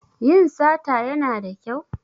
Yin sata Yana da kyau?